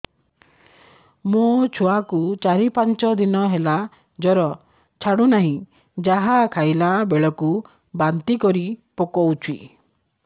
ମୋ ଛୁଆ କୁ ଚାର ପାଞ୍ଚ ଦିନ ହେଲା ଜର ଛାଡୁ ନାହିଁ ଯାହା ଖାଇଲା ବେଳକୁ ବାନ୍ତି କରି ପକଉଛି